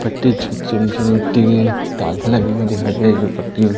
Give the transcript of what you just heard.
पट्टी तात लगी हुई दिखाई दे रही है जो पट्टी--